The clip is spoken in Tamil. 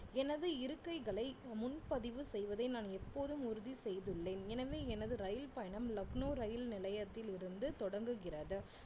எனது இருக்கைகளை முன்பதிவு செய்வதை நான் எப்போதும் உறுதி செய்துள்ளேன் எனவே எனது ரயில் பயணம் லக்னோ ரயில் நிலையத்திலிருந்து தொடங்குகிறது